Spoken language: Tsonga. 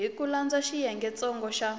hi ku landza xiyengentsongo xa